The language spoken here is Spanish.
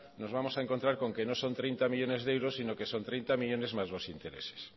nos vamos a encontrar con que no son hogeita hamarmillónes de euros sino que son treinta millónes más los intereses